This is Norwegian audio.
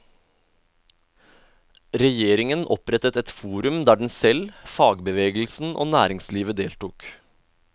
Regjeringen opprettet et forum der den selv, fagbevegelsen og næringslivet deltok.